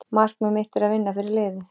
Markmið mitt er að vinna fyrir liðið.